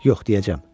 Yox, deyəcəm.